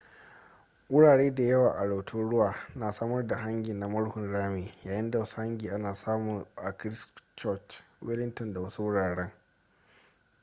wurare da yawa a rotorua na samar da hangi na murhun rami yayin da wasu hangi ana samu a christchurch wellington da wasu wurare